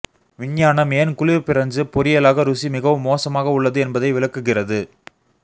விஞ்ஞானம் ஏன் குளிர் பிரஞ்சு பொரியலாக ருசி மிகவும் மோசமாக உள்ளது என்பதை விளக்குகிறது